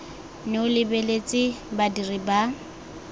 nne o lebeletse badiri ba